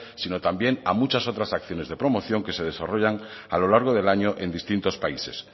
sino también a muchas otras acciones de promoción que se desarrollan a lo largo del año en distintos países